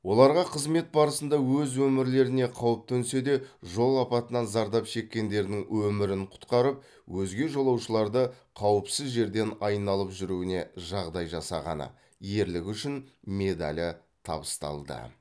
оларға қызмет барысында өз өмірлеріне қауіп төнсе де жол апатынан зардап шеккендердің өмірін құтқарып өзге жолаушыларды қауіпсіз жерден айналып жүруіне жағдай жасағаны ерлігі үшін медалі табысталды